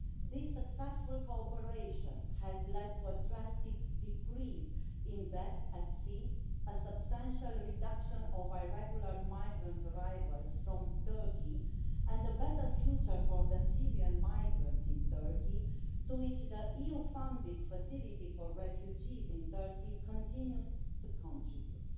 This successful cooperation has led to a drastic decrease in deaths at sea, a substantial reduction in irregular migrant arrivals from Turkey, and a better future for the Syrian migrants in Turkey, to which the EU funded Facility for refugees in Turkey is continuing to contribute.